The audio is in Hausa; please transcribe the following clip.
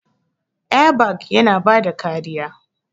Airbag yana bada kariya.